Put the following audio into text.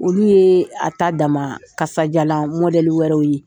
Olu ye a ta dama kasajala mɔdɛli wɛrɛw ye.